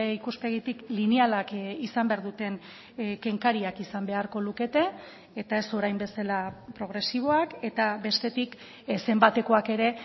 ikuspegitik linealak izan behar duten kenkariak izan beharko lukete eta ez orain bezala progresiboak eta bestetik zenbatekoak ere